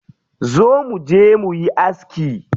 Zo muje muyi aski.